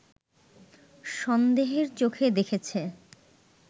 সন্দেহের চোখে দেখেছে